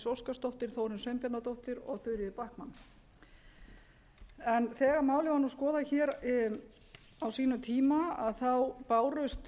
óskarsdóttir þórunn sveinbjarnardóttir og þuríður backman þegar málið var skoðað hér á sínum tíma bárust